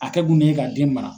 A kɛ kun de ye k'a den mara